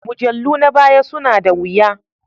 Mujallu na baya suna da wuya